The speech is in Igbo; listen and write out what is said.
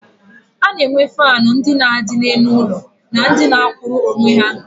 A na-enwe faanụ ndị na-adị n'elu ụlọ na ndị na-akwụrụ onwe ha.